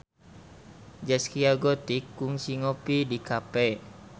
Zaskia Gotik kungsi ngopi di cafe